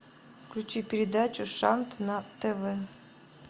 включи передачу шант на тв